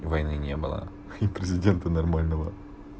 войны не было и президенту нормального